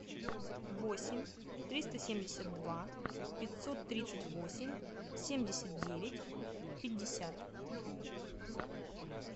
восемь триста семьдесят два пятьсот тридцать восемь семьдесят девять пятьдесят